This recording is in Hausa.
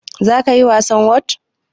zakayi wasan whot?